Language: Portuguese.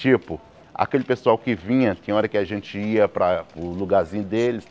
Tipo, aquele pessoal que vinha, tinha hora que a gente ia para o lugarzinho deles.